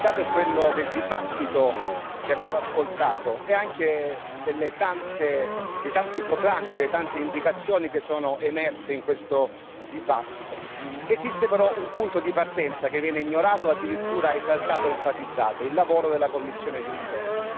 Il dato è quello del dibattito che abbiamo ascoltato e anche dei tanti proclami e delle tante indicazioni che sono emerse in questo dibattito. Esiste però un punto di partenza che viene ignorato, o addirittura esaltato ed enfatizzato il lavoro della Commissione Juncker.